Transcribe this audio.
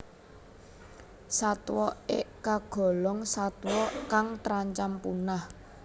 Satwa ik kagolong satwa kang terancam punah